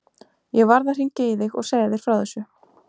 Ég varð að hringja í þig og segja þér frá þessu.